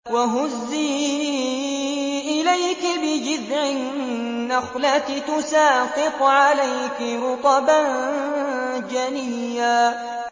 وَهُزِّي إِلَيْكِ بِجِذْعِ النَّخْلَةِ تُسَاقِطْ عَلَيْكِ رُطَبًا جَنِيًّا